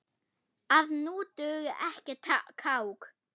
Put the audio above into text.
að nú dugi ekkert kák!